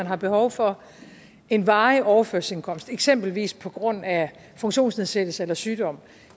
har behov for en varig overførselsindkomst eksempelvis på grund af funktionsnedsættelse eller sygdom